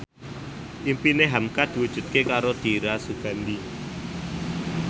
impine hamka diwujudke karo Dira Sugandi